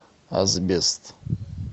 асбест